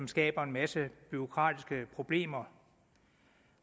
skaber en masse bureaukratiske problemer